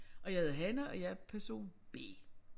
Jeg hedder Hanne og jeg er person B